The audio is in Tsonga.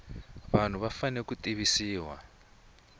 vanhu va fanele ku tivisiwa